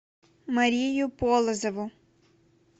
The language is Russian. марию полозову